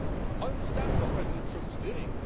I understand what President Trump is doing.